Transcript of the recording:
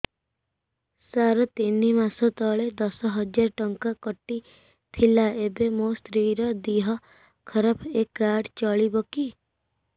ସାର ତିନି ମାସ ତଳେ ଦଶ ହଜାର ଟଙ୍କା କଟି ଥିଲା ଏବେ ମୋ ସ୍ତ୍ରୀ ର ଦିହ ଖରାପ ଏ କାର୍ଡ ଚଳିବକି